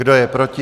Kdo je proti?